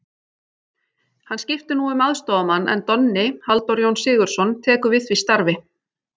Hann skiptir nú um aðstoðarmann en Donni, Halldór Jón Sigurðsson, tekur við því starfi.